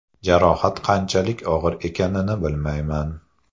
Jarohat qanchalik og‘ir ekanini bilmayman.